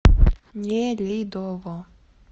нелидово